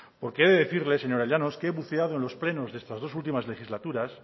porque he de decirle señora llano que he buceado en los plenos de estas dos últimas legislaturas